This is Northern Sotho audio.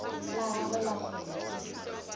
la gagwe la kgwele ke